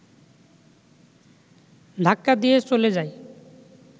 ধাক্কা দিয়ে চলে যায়